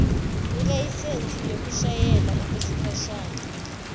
ilayisensi yokushayela okwesikhashana